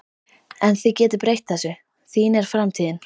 En þið getið breytt þessu, þín er framtíðin